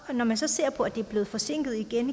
når man så ser at det er blevet forsinket igen